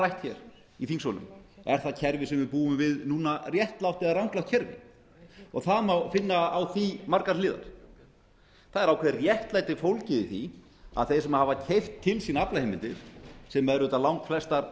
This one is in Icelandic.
rætt hér í þingsölum er það kerfi sem við búum við núna réttlátt eða ranglátt kerfi og það má finna á því margar hliðar það er ákveðið réttlæti fólgið í því að þeir sem hafa keypt til sín aflaheimildir sem eru auðvitað langflestar